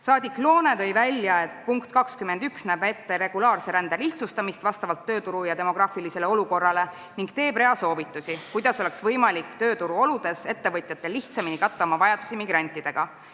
Saadik Loone tõi välja, et punkt 21 näeb ette regulaarse rände lihtsustamist vastavalt tööturu ja demograafilisele olukorrale ning annab rea soovitusi, kuidas oleks ettevõtjatel lihtsamini võimalik oma vajadusi migrantidega katta.